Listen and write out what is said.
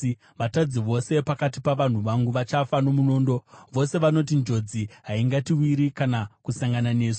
Vatadzi vose pakati pavanhu vangu vachafa nomunondo, vose vanoti, ‘Njodzi haingatiwiri kana kusangana nesu.’